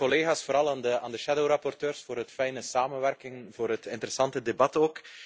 Dank u wel aan de collega's, vooral aan de schaduwrapporteurs, voor de fijne samenwerking en voor het interessante debat.